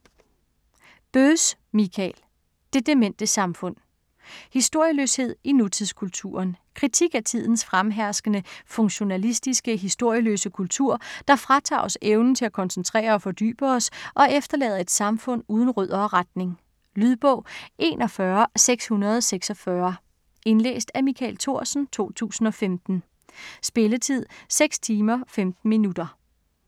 Böss, Michael: Det demente samfund Historieløshed i nutidskulturen. Kritik af tidens fremherskende funktionalistiske, historieløse kultur, der fratager os evnen til at koncentrere og fordybe os, og efterlader et samfund uden rødder og retning. Lydbog 41646 Indlæst af Michael Thorsen, 2015. Spilletid: 6 timer, 15 minutter.